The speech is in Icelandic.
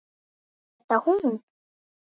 Er þetta hún?